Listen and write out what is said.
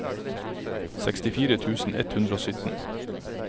sekstifire tusen ett hundre og sytten